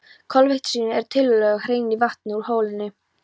Koltvísýringur er tiltölulega hreinn í vatninu úr holunni.